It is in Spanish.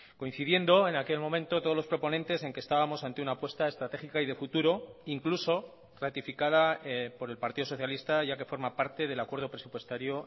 coincidiendo en aquel momento todos los proponentes en que estábamos ante una apuesta estratégica y de futuro incluso ratificada por el partido socialista ya que forma parte del acuerdo presupuestario